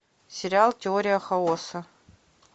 сериал теория хаоса